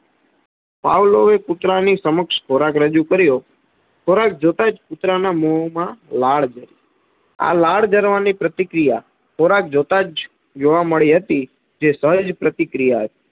Pavlov એ કુતરા ની સમક્ષ ખોરાક રજૂ કર્યો. ખોરાક જોતાં જ કુતરા ના મો માં લાડ જરી. આ લાડ જરવા ની પ્રતિક્રિયા ખોરાક જોતાં જ જોવા મડી હતી, જે સહેજ પતિક્રિયા હતી.